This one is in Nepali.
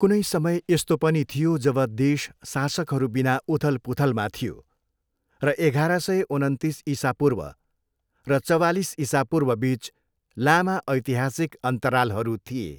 कुनै समय यस्तो पनि थियो जब देश शासकहरूबिना उथलपुथलमा थियो, र एघार सय उनन्तिस इसापूर्व र चवालिस इसापूर्वबिच लामा ऐतिहासिक अन्तरालहरू थिए।